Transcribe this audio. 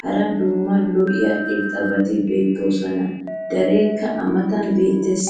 hara daro lo'iya irxxabati beetoosona. dereekka a matan beetees.